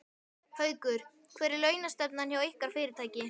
Haukur: Hver er launastefnan hjá ykkar fyrirtæki?